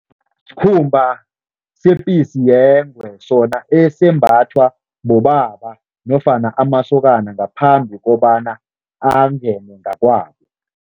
Sikhumba sepisi yengwe, sona esembathwa bobaba nofana amasokana ngaphambi kobana angene ngakwabo.